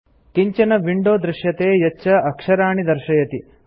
किञ्च्न window दृश्यते यच्च अक्षराणि दर्शयति